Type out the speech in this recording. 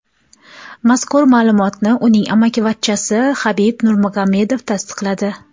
Mazkur ma’lumotni uning amakivachchasi Habib Nurmagomedov tasdiqladi .